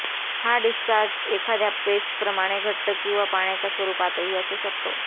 हा डिस्चार्ज एखाद्या पेस्टप्रमाणे घट्ट किंवा पाण्याच्या स्वरूपातही असू शकतो